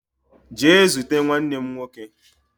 Jee zute nwannem nwoke